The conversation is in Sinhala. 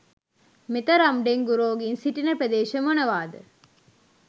මෙතරම් ඩෙංගු රෝගීන් සිටින ප්‍රදේශ මොනවාද?